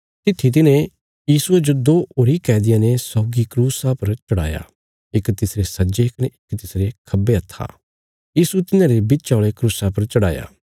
तित्थी तिन्हें यीशुये जो दो होरी कैदियां ने सौगी क्रूस पर चढ़ाया इक तिसरे सज्जे कने इक तिसरे खब्बे हत्था यीशु तिन्हांरे बिच्चा औल़े क्रूसा पर चढ़ाया